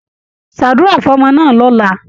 Ṣàdúrà fọ́mọ náà lọ̀la!